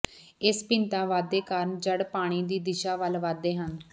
ਇਸ ਭਿੰਨਤਾ ਵਾਧੇ ਕਾਰਨ ਜੜ੍ਹ ਪਾਣੀ ਦੀ ਦਿਸ਼ਾ ਵੱਲ ਵਧਦੇ ਹਨ